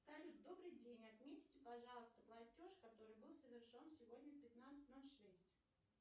салют добрый день отметьте пожалуйста платеж который был совершен сегодня в пятнадцать ноль шесть